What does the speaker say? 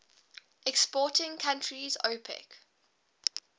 exporting countries opec